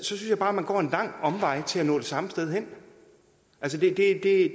synes jeg bare man går en lang omvej til at nå samme sted hen altså det er det